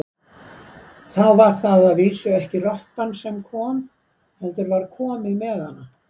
Þá var það að vísu ekki rottan sem kom, heldur var komið með hana.